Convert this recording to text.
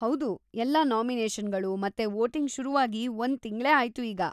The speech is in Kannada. ಹೌದು, ಎಲ್ಲ ನಾಮಿನೇಷನ್‌ಗಳು ಮತ್ತೆ ವೋಟಿಂಗ್‌ ಶುರುವಾಗಿ ಒಂದ್‌ ತಿಂಗ್ಳೇ ಆಯ್ತು ಈಗ.